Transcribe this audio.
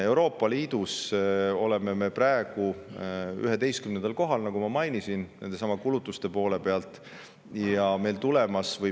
Euroopa Liidus oleme me praegu 11. kohal, nagu ma mainisin, nendesamade kulutuste mõttes.